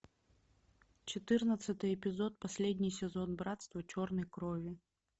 четырнадцатый эпизод последний сезон братство черной крови